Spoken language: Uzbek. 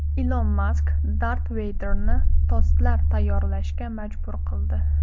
Ilon Mask Dart Veyderni tostlar tayyorlashga majbur qildi.